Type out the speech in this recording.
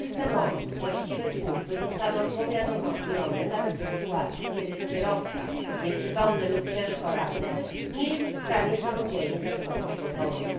Dzięki systemowi właściwe służby zostaną powiadomione nawet w sytuacji, kiedy kierowca, nieprzytomny lub ciężko ranny, nie jest w stanie samodzielnie zadzwonić po pomoc.